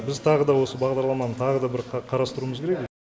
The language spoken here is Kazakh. біз тағы да осы бағдарламаны тағы да бір қарастыруымыз керек